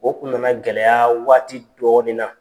O tun na na gɛlɛya waati dɔɔnin na.